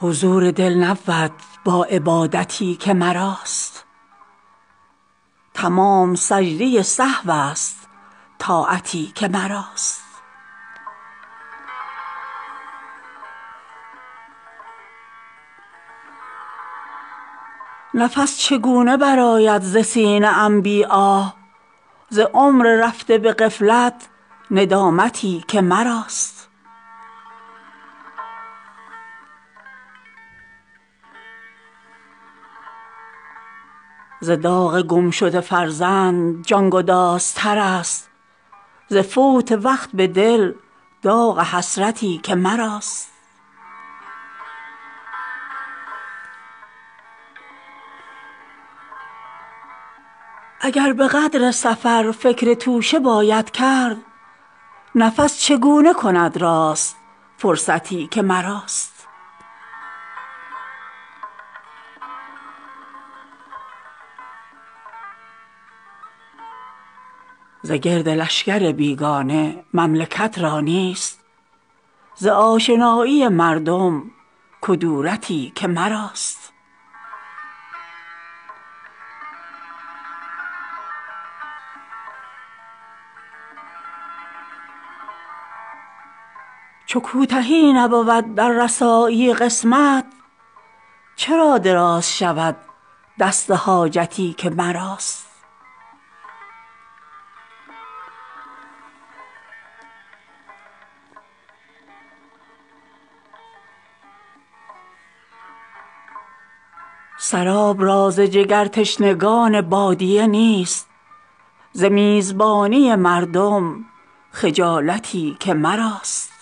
حضور دل نبود با عبادتی که مراست تمام سجده سهوست طاعتی که مراست نفس چگونه برآید ز سینه ام بی آه ز عمر رفته به غفلت ندامتی که مراست ز رستخیز نباشد گناهکاران را ز خود حسابی در دل قیامتی که مراست اگر به قدر سفر فکر توشه باید کرد نفس چگونه کند راست فرصتی که مراست ز داغ گمشده فرزند جانگداز ترست ز فوت وقت به دل داغ حسرتی که مراست مرا به عالم بالا دلیل خواهد شد ازین جهان فرومایه وحشتی که مراست به دل ز خاک گرانسنگ نیست قارون را ز خاکدان جهان گرد کلفتی که مراست به هیچ دشمن خونخوار بیجگر را نیست به دوستان زبانی عداوتی که مراست ز آسیای گرانسنگ دانه را نبود ز سیر و دور فلک ها شکایتی که مراست به هیچ حسن گلوسوز نیست عاشق را به داغهای جگرسوز الفتی که مراست نصیب خال ز کنج دهان خوبان نیست ز گوشه گیری مردم حلاوتی که مراست نموده است شکر خواب را به مخمل تلخ ز خاک بستر و بالین راحتی که مراست سراب را ز جگرتشنگان بادیه نیست ز میزبانی مردم خجالتی که مراست همین بس است که فارغ ز دید و وادیدم ز دور گردی مردم کفایتی که مراست چو کوتهی نبود در رسایی قسمت چرا دراز شود دست حاجتی که مراست به هیچ پیر نباشد مرید صادق را به عشق تازه جوانان ارادتی که مراست به چشم سرمه جهان را سیاه می سازد ز یار گوشه چشم عنایتی که مراست